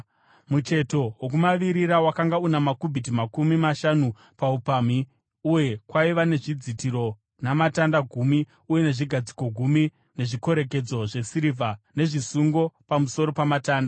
Mucheto wokumavirira wakanga una makubhiti makumi mashanu paupamhi, uye kwaiva nezvidzitiro, namatanda gumi uye nezvigadziko gumi, nezvikorekedzo zvesirivha nezvisungo pamusoro pamatanda.